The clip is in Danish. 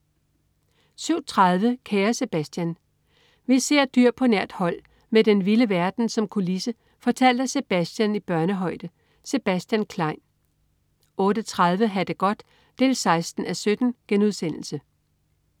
07.30 Kære Sebastian. Vi ser dyr på nært hold med den vilde verden som kulisse fortalt af Sebastian i børnehøjde. Sebastian Klein 08.30 Ha' det godt 16:17*